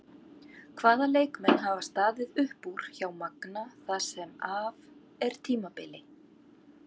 Hvaða leikmenn hafa staðið upp úr hjá Magna það sem af er tímabili?